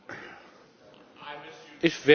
Ich werde nicht gerne unterbrochen.